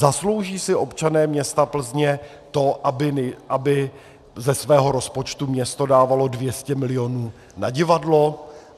Zaslouží si občané města Plzně to, aby ze svého rozpočtu město dávalo 200 milionů na divadlo?